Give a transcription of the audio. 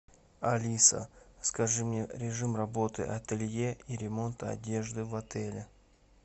алиса скажи мне режим работы ателье и ремонта одежды в отеле